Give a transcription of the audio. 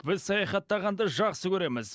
біз саяхаттағанды жақсы көреміз